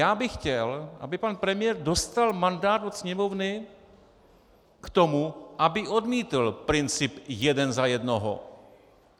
Já bych chtěl, aby pan premiér dostal mandát od Sněmovny k tomu, aby odmítl princip jeden za jednoho.